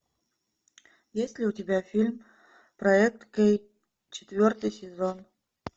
есть ли у тебя фильм проект кей четвертый сезон